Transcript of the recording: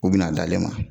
U bina a da ale ma